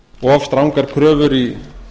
of strangar kröfur í